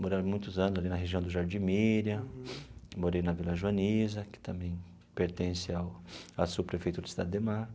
Morei há muitos anos ali na região do Jardim Miriam, morei na Vila Joanisa, que também pertence ao a subprefeitura da Cidade Ademar.